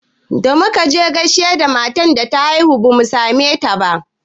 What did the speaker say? Da muka je gaida matan da ta haihu bamu same ta ba